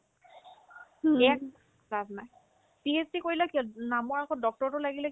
এক লাভ নাই PhD কৰিলে কি হ'ল নামৰ আগত Dr তো লাগিলে